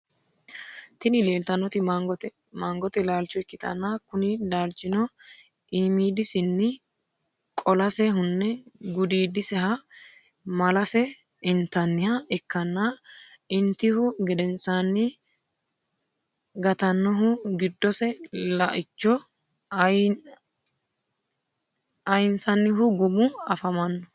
Tini lilitanoti mangote lalicho ikitana kuni lalichino imidisinni qolase hune gudidiseha malase intaniha ikana initihu gedenisanni gatanohu gidose laicho ayinisanhu gumu afamano.